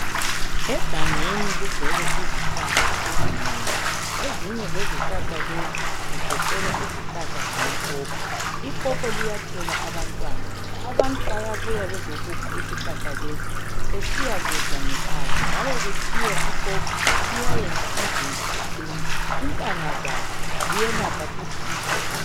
Egangeni kugcwele izihlahla ezinengi. Ezinye ezihlahla lezi zigoqela izihlahla zamapopo. Ipopo liyathela abantwana. Abantu bayabuya bezokukha isihlahla lesi besiya kudla ngekhaya njalo kuthiwa ipopo liyayenza umzimba uqine. Intanga zalo ziyelapha futhi umkhuhlane.